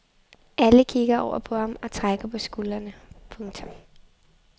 Alle kigger over på ham og trækker på skuldrene. punktum